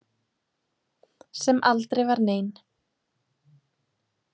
Sem aldrei var nein.